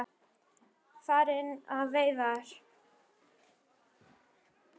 Farin á veiðar.